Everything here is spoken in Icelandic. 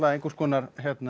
einhvers konar